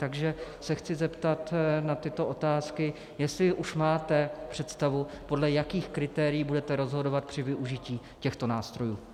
Takže se chci zeptat na tyto otázky, jestli už máte představu, podle jakých kritérií budete rozhodovat při využití těchto nástrojů.